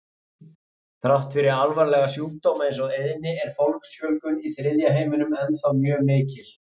Þrátt fyrir alvarlega sjúkdóma eins og eyðni er fólksfjölgun í þriðja heiminum ennþá mjög mikil.